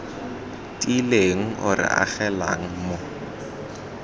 tiileng o re agelelang mo